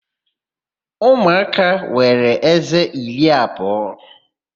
Umụaka nwere ézé iri abụọ.